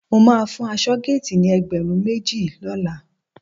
Mo máa fún aṣọ́géètì ni ẹgbẹ̀rún méjì lọ́la